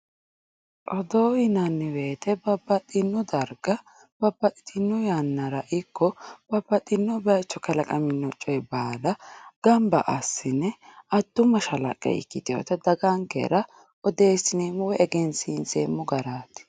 Odoo yinanniwoyite babbaxxino darga babbaxxitino yannara ikko babbaxxino bayicho kalaqamino coyi baala gabmba assne addu mashalaqqe ikkitinota dagankera egensiinseemmo garaati.